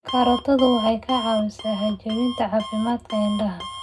Karootadu waxay caawisaa hagaajinta caafimaadka indhaha.